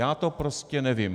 Já to prostě nevím.